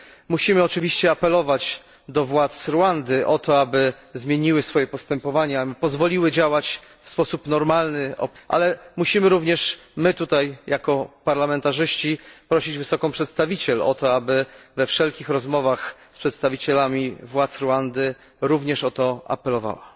Musimy oczywiście apelować do władz Rwandy o to, aby zmieniły swoje postępowanie, aby pozwoliły opozycji działać w sposób normalny. Ale musimy również my, tutaj, jako parlamentarzyści, prosić wysoką przedstawiciel o to, aby we wszelkich rozmowach z przedstawicielami władz Rwandy również o to apelowała.